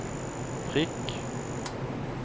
prikk